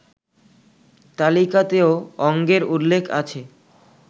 তালিকাতেও অঙ্গের উল্লেখ আছে